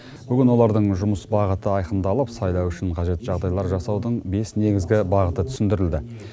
бүгін олардың жұмыс бағыты айқындалып сайлау үшін қажет жағдайлар жасаудың бес негізгі бағыты түсіндірілді